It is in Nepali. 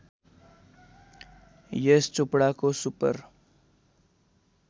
यश चोपडाको सुपर